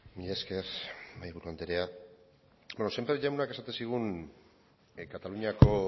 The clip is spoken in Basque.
mila esker mahaiburu andrea bueno sémper jaunak esaten zigun kataluniako